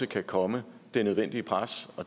kan komme det nødvendige pres